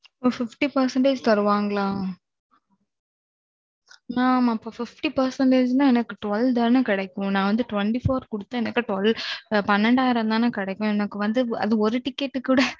அப்போ fifty percentage தருவார்களா? mam அப்போ fifty percentageனா அணைக்கு twelve தானே கிடைக்கும். நான் வந்து twenty four குடுத்து எனக்கு twelve பன்னெண்டு ஆயிரம் தானே கிடைக்கும். அது ஒரு ticketக்கு கூட.